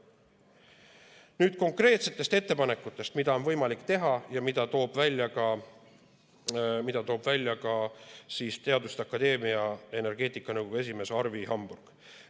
Nüüd konkreetsetest ettepanekutest, mida on võimalik teha ja mida toob välja ka teaduste akadeemia energeetikanõukogu esimees Arvi Hamburg.